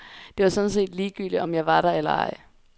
Det var sådan set ligegyldigt om jeg var der eller ej.